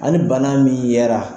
Ani bana min yera